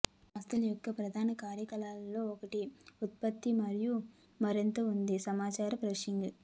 సంస్థ యొక్క ప్రధాన కార్యక్రమాల్లో ఒకటి ఉత్పత్తి మరియు మరింత ఉంది సమాచార ప్రాసెసింగ్